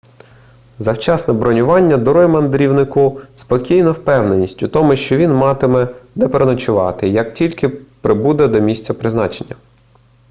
завчасне бронювання дарує мандрівнику спокійну впевненість в тому що він матиме де переночувати як тільки прибуде до місця призначення